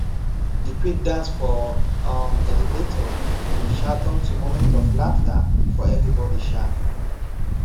de quick dance for um elevator bin um turn to moment of laughter for everybody um